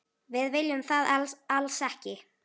Við viljum það alls ekki.